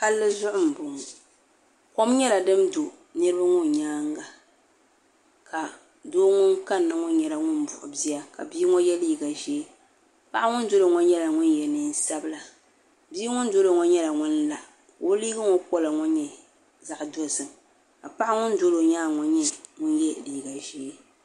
Palli zuɣu m-bɔŋɔ kom nyɛla din do niriba ŋɔ nyaaŋga ka doo ŋun kanna ŋɔ nyɛla ŋun buɣi bia ka bia ŋɔ ye liiga ʒee paɣa ŋun doli o nyɛla ŋun ye neen' sabila bia ŋun doli o ŋɔ nyɛla ŋun la ka o liiga ŋɔ kɔla ŋɔ nyɛ zaɣ' dozim ka paɣa ŋun doli o nyaaŋga ŋɔ nyɛ ŋun ye liiga ʒee